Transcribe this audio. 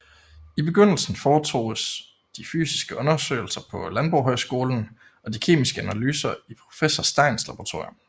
I begyndelsen foretoges de fysiske undersøgelser på Landbohøjskolen og de kemiske analyser i professor Steins Laboratorium